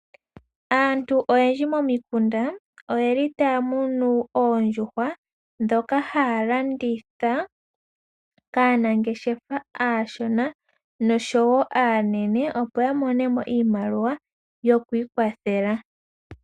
Aantu oyendji momikunda oyeli taamunu oondjuhwa dhoka haalanditha kaanangeshefa aashona nosho wo aanene opo yamonemo iimaliwa yo ku ikwathela.